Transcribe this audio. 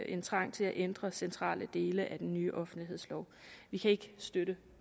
en trang til at ændre centrale dele af den nye offentlighedslov vi kan ikke støtte